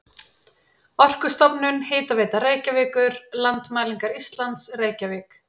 Orkustofnun, Hitaveita Reykjavíkur, Landmælingar Íslands, Reykjavík.